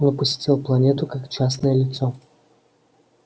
он посетил планету как частное лицо